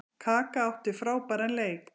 Kaka átti frábæran leik.